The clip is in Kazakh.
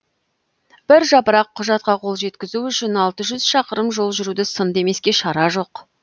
бір жапырақ құжатқа қол жеткізу үшін алты жүз шақырым жол жүруді сын демеске шара жоқ